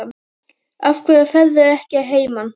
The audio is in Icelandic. Af hverju ferðu ekki að heiman?